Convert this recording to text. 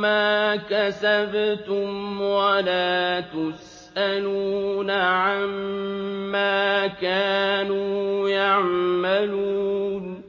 مَّا كَسَبْتُمْ ۖ وَلَا تُسْأَلُونَ عَمَّا كَانُوا يَعْمَلُونَ